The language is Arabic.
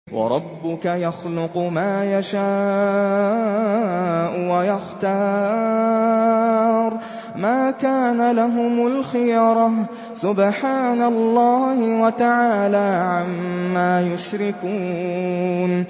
وَرَبُّكَ يَخْلُقُ مَا يَشَاءُ وَيَخْتَارُ ۗ مَا كَانَ لَهُمُ الْخِيَرَةُ ۚ سُبْحَانَ اللَّهِ وَتَعَالَىٰ عَمَّا يُشْرِكُونَ